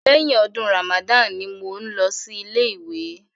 Lẹ́yìn ọdún Ramadan ni mò ń lọ sí ilé ìwé.